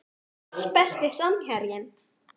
pass Besti samherjinn?